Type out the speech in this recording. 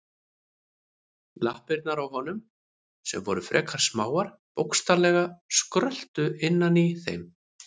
Lappirnar á honum, sem voru frekar smáar, bókstaflega skröltu innan í þeim.